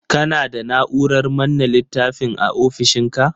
Kana da Na'urar manne littafin a ofishinka?